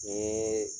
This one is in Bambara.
Ni